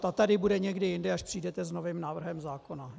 Ta tady bude někdy jindy, až přijdete s novým návrhem zákona.